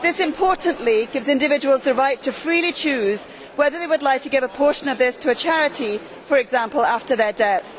Importantly, this gives individuals the right to freely choose whether they would like to give a portion of this to a charity, for example, after their death.